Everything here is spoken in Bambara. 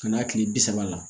Ka n'a tile bi saba la